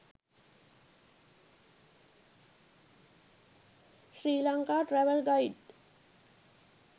sri lanka travel guide